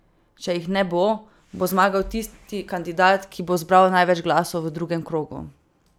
Če jih ne bo, bo zmagal tisti kandidat, ki bo zbral največ glasov v drugem krogu.